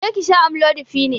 Je ki sha amlodipine!